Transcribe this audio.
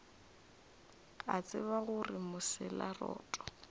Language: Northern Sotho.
a tseba gore mosela roto